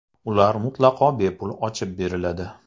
Ular mutlaqo bepul ochib beriladi!